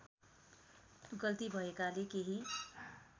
गल्ती भएकाले केही